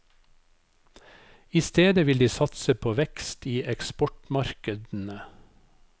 I stedet vil de satse på vekst i eksportmarkedene.